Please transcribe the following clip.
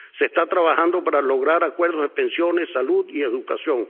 Se está trabajando para lograr acuerdos de pensiones, salud y educación.